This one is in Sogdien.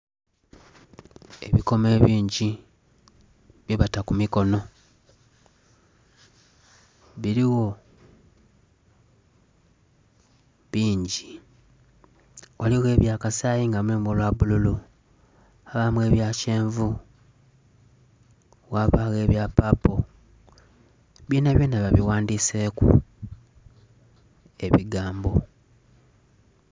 Ebikmo ebingi bye bata ku mikonho biligho bingi ghaligho ebya kasayi nga mulimu olwa bbululu, ghabamu ebya kyenvu, ghabagho ebya paapo byona byona babighandhiseku ebigambo.